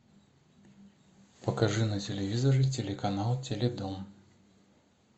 покажи на телевизоре телеканал теле дом